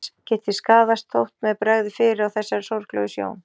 ans geti skaðast þótt mér bregði fyrir á þessari sorglegu sjón